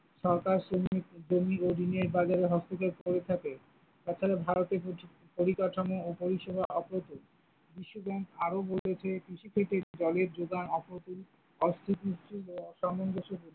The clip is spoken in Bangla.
সরকার শ্রমিক, জমি ও ঋণের বাজারে হস্তক্ষেপ করে থাকে, তাছাড়া ভারতে প্রচুর পরিকাঠামো ও পরিষেবা অপ্রতিম, বিশ্ব ব্যাংক আরও বলেছে কৃষি থেকে জলের জোগান আপ্রতিম বা অসামনঞ্জস্য।